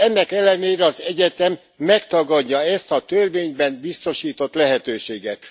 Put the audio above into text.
Ennek ellenére az egyetem megtagadja ezt a törvényben biztosított lehetőséget.